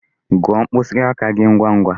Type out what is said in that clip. Gụọ mkpịsị aka gi ngwangwa!